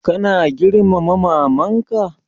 Kana girmama maman ka?